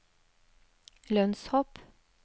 lønnshopp